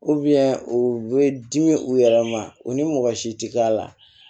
u bɛ dimi u yɛrɛ ma u ni mɔgɔ si tɛ a la